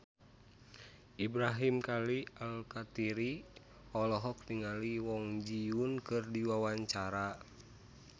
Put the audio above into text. Ibrahim Khalil Alkatiri olohok ningali Kwon Ji Yong keur diwawancara